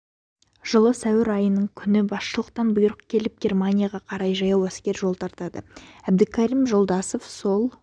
жылы сәуір айынын күні басшылықтан бұйрық келіп германияға қарай жаяу әскер жол тартады әбдікерім жолдасов сол